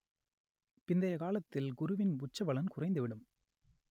பிந்தைய காலத்தில் குருவின் உச்ச பலன் குறைந்து விடும்